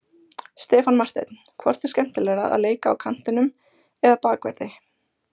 Stefán Marteinn Hvort er skemmtilegra að leika á kantinum eða Bakverði?